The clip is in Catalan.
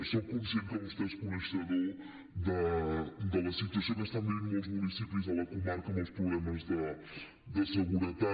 soc conscient que vostè és coneixedor de la situació que estan vivint molts municipis a la comarca amb els problemes de seguretat